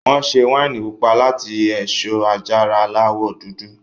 Wọn ṣe wáìnì pupa láti èso àjàrà Aláwọ̀ dúdú